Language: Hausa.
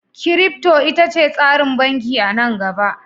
Kirifto ita ce tsarin banki a nan gaba